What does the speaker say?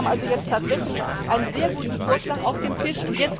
Wir haben also jetzt tatsächlich einen sehr guten Vorschlag auf dem Tisch.